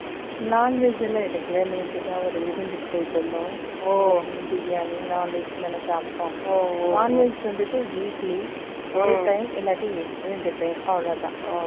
Non veg எல்லாம் எடுக்கலை. நேத்துதான், ஒரு விருந்துக்கு போயிட்டு இருந்தோம். ஓ. பிரியாணி, non veg தானே சாப்பிட்டோம்? ஓ, non veg வந்துட்டு, weekly ஒரு time இல்லாட்டி, ரெண்டு time , அவ்வளவுதான்